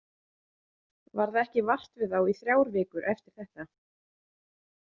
Varð ekki vart við þá í þrjár vikur eftir þetta.